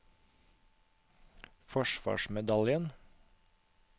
forsvarsmedaljen